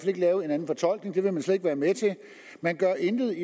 ikke lave en anden fortolkning det vil man slet ikke være med til man gør intet